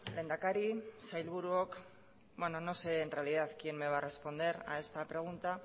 lehendakari sailburuok bueno no sé en realidad quién me va a responder a este pregunta